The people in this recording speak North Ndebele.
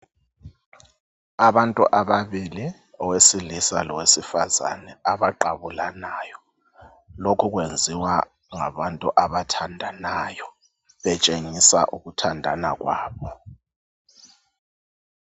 Abantu ababili owesilisa lowesifazane abaqabulanayo lokhu akwenziwa ngabantu abathandanayo betshengisa ukuthandana kwabo.